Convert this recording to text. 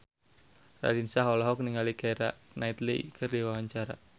Raline Shah olohok ningali Keira Knightley keur diwawancara